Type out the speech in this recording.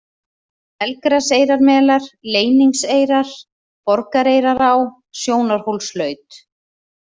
Melgraseyrarmelar, Leyningseyrar, Borgareyrará, Sjónarhólslaut